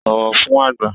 Bọ̀wọ̀ fún àgbà!